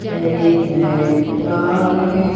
एक black car है।